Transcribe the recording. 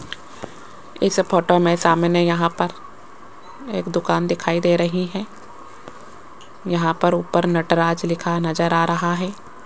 इस फोटो में सामने यहां पर एक दुकान दिखाई दे रही है यहां पर ऊपर नटराज लिखा नजर आ रहा है।